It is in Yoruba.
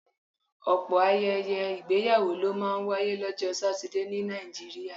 Ọ̀pọ̀ ayẹyẹ ìgbéyàwó ló máa ń wáyé lọ́jọ́ Satidé ní Nàìjíríà